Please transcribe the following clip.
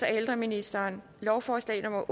ældreministeren lovforslag nummer